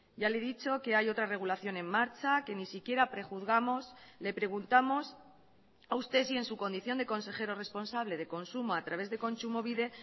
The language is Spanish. ya le he dicho que hay otra regulación en marcha que ni siquiera prejuzgamos le preguntamos a usted si en su condición de consejero responsable de consumo a través de kontsumobide